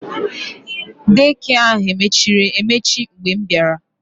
Dei kịe ahụ mechiri emechi mgbe m bịara